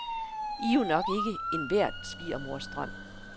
I er jo nok ikke enhver svigermors drøm.